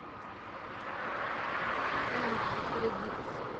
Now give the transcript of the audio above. энд кредитс